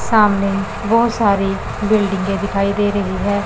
सामने बहोत सारी बिल्डिंगे दिखाई दे रही हैं।